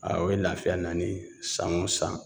A o ye lafiya nani ye san o san